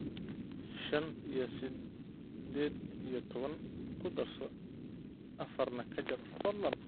shan iyo siddeed iyo toban ku darso afarna ka jar fadlan